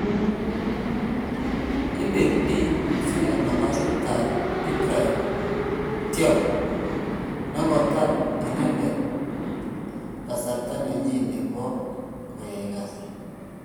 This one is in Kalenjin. Ipe Bi Msuya nasafit ap Ibrahim Thiaw negotar inendet kasar nenyin nepo koyai kasit.